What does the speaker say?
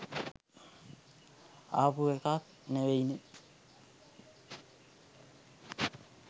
ආපු එකක් නෙවෙයිනෙ.